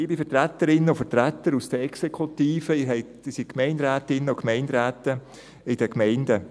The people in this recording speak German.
Liebe Vertreterinnen und Vertreter aus den Exekutiven, Sie sind Gemeinderätinnen und Gemeinderäte in den Gemeinden.